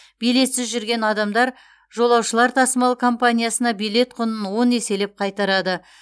билетсіз жүрген адамдар жолаушылар тасымалы компаниясына билет құнын он еселеп қайтарады